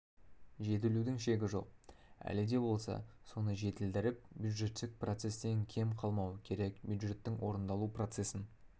жетілудің шегі жоқ әлі де болса соны жетілдіріп бюджеттік процестен кем қалмау керек бюджеттің орындалу процесін